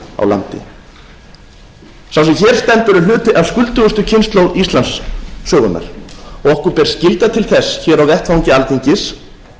á landi sá sem hér stendur er hluti af skuldugustu kynslóð íslandssögunnar og okkur ber skylda til þess hér á vettvangi alþingis